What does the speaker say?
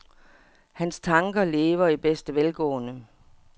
Hans tanker lever i bedste velgående.